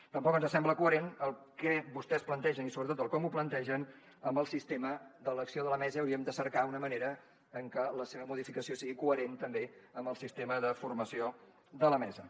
tampoc ens sembla coherent el que vostès plantegen i sobretot el com ho plantegen amb el sistema d’elecció de la mesa i hauríem de cercar una manera en què la seva modificació sigui coherent també amb el sistema de formació de la mesa